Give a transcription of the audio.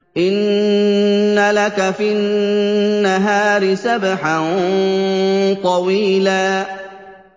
إِنَّ لَكَ فِي النَّهَارِ سَبْحًا طَوِيلًا